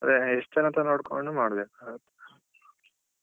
ಅದೇ ಎಷ್ಟ್ ಜನ ಅಂತ ನೋಡ್ಕೊಂಡು ಮಾಡ್ಬೇಕು.